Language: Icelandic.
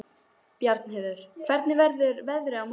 Bjarnheiður, hvernig verður veðrið á morgun?